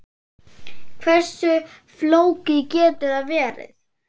Hversu flókið getur það verið?